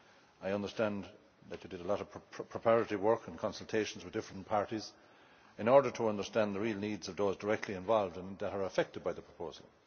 I understand that you did a lot of preparatory work and consultations with different parties in order to understand the real needs of those directly involved and who are affected by the proposal.